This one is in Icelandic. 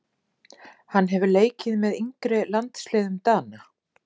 Hann hefur leikið með yngri landsliðum Dana.